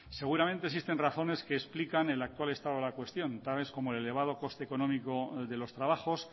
seguramente existen razones que explican el actual estado de la cuestión tales como el elevado coste económico de los trabajos